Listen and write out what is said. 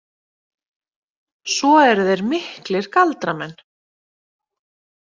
Svo eru þeir miklir galdramenn.